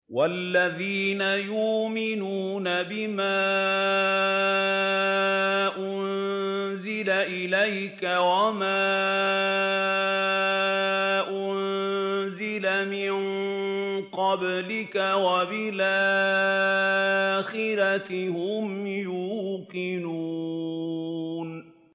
وَالَّذِينَ يُؤْمِنُونَ بِمَا أُنزِلَ إِلَيْكَ وَمَا أُنزِلَ مِن قَبْلِكَ وَبِالْآخِرَةِ هُمْ يُوقِنُونَ